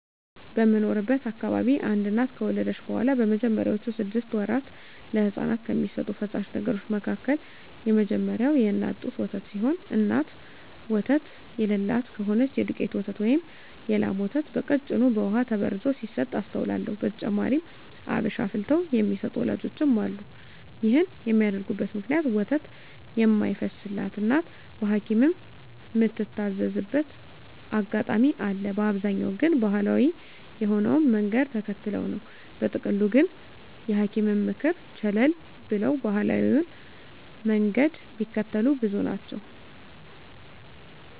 በምኖርበት አካባቢ አንድ እናት ከወለደች በኋላ በመጀመሪያወቹ ስድስት ወራት ለህጻናት ከሚሰጡ ፈሳሽ ነገሮች መካከል የመጀመሪያው የእናት ጡት ወተት ሲሆን እናት ወተት የለላት ከሆነች የዱቄት ወተት ወይም የላም ወተት በቀጭኑ በውሃ ተበርዞ ሲሰጥ አስተውላለው። በተጨማሪም አብሽ አፍልተው የሚሰጡ ወላጆችም አሉ። ይህን የሚያደርጉበት ምክንያት ወተት የማይፈስላት እናት በሀኪምም ምትታዘዝበት አጋጣሚ አለ፤ በአብዛኛው ግን ባሀላዊ የሆነውን መንገድ ተከትለው ነው። በጥቅሉ ግን የሀኪምን ምክር ቸለል ብለው ባሀላዊውን መንገድ ሚከተሉ ብዙ ናቸው።